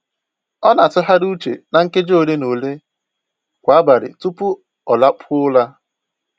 Ọ na-atụgharị uche na nkeji ole na ole kwa abalị tupu ọ lakpuo ụra